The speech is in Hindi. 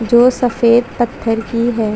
जो सफ़ेद पत्थर की है।